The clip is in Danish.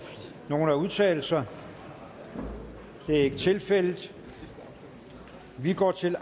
nogen at udtale sig det er ikke tilfældet så vi går til